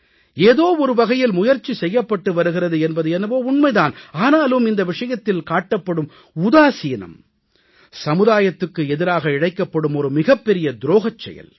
ஏதோ ஒருவகையில் முயற்சி செய்யப்பட்டு வருகிறது என்பது என்னவோ உண்மை தான் ஆனாலும் இந்த விஷயத்தில் காட்டப்படும் உதாசீனம் சமுதாயத்துக்கு எதிராக இழைக்கப்படும் ஒரு மிகப்பெரிய துரோகச் செயல்